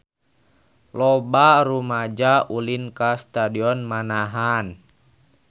Loba rumaja ulin ka Stadion Manahan